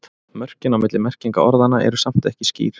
Mörkin á milli merkinga orðanna eru samt ekki skýr.